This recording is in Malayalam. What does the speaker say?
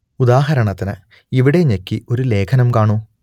ഉദാഹരണത്തിന് ഇവിടെ ഞെക്കി ഒരു ലേഖനം കാണൂ